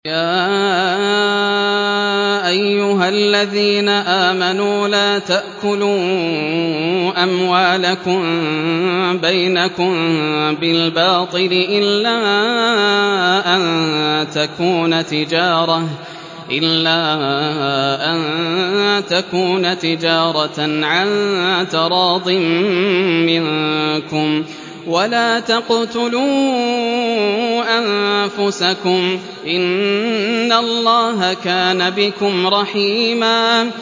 يَا أَيُّهَا الَّذِينَ آمَنُوا لَا تَأْكُلُوا أَمْوَالَكُم بَيْنَكُم بِالْبَاطِلِ إِلَّا أَن تَكُونَ تِجَارَةً عَن تَرَاضٍ مِّنكُمْ ۚ وَلَا تَقْتُلُوا أَنفُسَكُمْ ۚ إِنَّ اللَّهَ كَانَ بِكُمْ رَحِيمًا